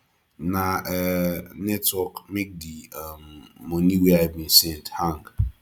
na um network make di um moni wey i bin send to hang